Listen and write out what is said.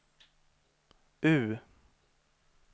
U